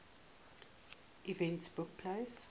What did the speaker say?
events took place